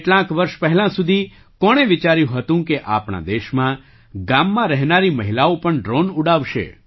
કેટલાંક વર્ષ પહેલાં સુધી કોણે વિચાર્યું હતું કે આપણા દેશમાં ગામમાં રહેનારી મહિલાઓ પણ ડ્રૉન ઉડાવશે